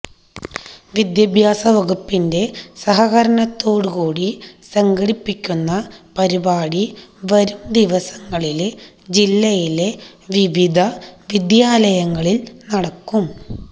വിദ്യാഭ്യാസ വകുപ്പിന്റെ സഹകരണത്തോടുകൂടി സംഘടിപ്പിക്കുന്ന പരിപാടി വരും ദിവസങ്ങളില് ജില്ലയിലെ വിവിധ വിദ്യാലങ്ങളില് നടക്കും